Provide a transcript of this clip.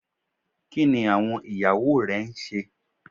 Kini awọn iyawo rẹ n ṣe?